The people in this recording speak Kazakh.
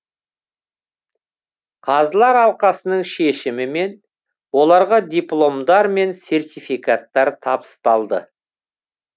қазылар алқасының шешімімен оларға дипломдар мен сертификаттар табысталды